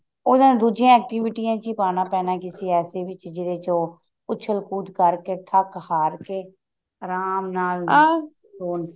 ਉਹਨਾ ਦੂਜੀਆਂ ਅਕ੍ਤੀਵਿਟੀਆਂ ਵਿੱਚ ਹੀ ਪਾਉਣਾ ਪੈਣਾ ਕਿਸੀ ਐਸੀ ਵਿੱਚ ਜਿਹਦੇ ਚ ਉਹ ਉਛਲ ਕੁਦ ਕਰ ਕੇ ਥੱਕ ਹਾਰ ਕੇ ਆਰਾਮ